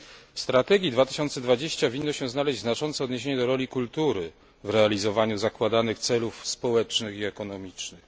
W strategii Europa 2020 winno się znaleźć znaczące odniesienie do roli kultury w realizowaniu zakładanych celów społecznych i ekonomicznych.